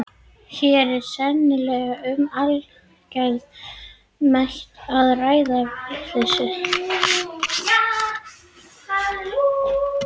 Hér er sennilega um algert met að ræða í vitleysu!